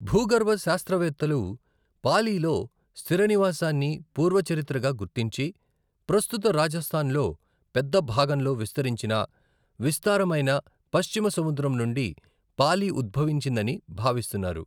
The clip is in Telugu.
భూగర్భ శాస్త్రవేత్తలు పాలీలో స్థిరనివాసాన్ని పూర్వ చరిత్రగా గుర్తించి, ప్రస్తుత రాజస్థాన్లో పెద్ద భాగంలో విస్తరించిన విస్తారమైన పశ్చిమ సముద్రం నుండి పాలి ఉద్భవించిందని భావిస్తున్నారు.